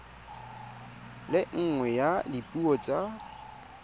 le nngwe ya dipuo tsa